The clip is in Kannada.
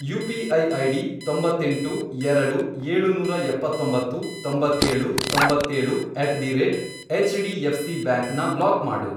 ಯು.ಪಿ.ಐ. ಐಡಿ, ತೊಂಬತ್ತೆಂಟು, ಎರಡು, ಏಳುನೂರ ಎಪ್ಪತ್ತೊಂಬತ್ತು, ತೊಂಬತ್ತೇಳು, ತೊಂಬತ್ತೇಳು, at the rate H D F C bank ನ ಬ್ಲಾಕ್ ಮಾಡು